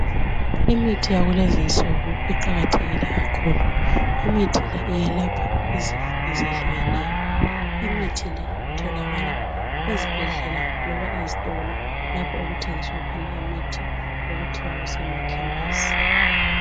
imithi yakulezinsuku iqakathekile kakhulu imithi el iyelapha izifo ezehlukeneyo imithi le itholakala ezibhedlela loba ezitolo lapho okuthengiswa khona imithi okuthiwa kusema khemesi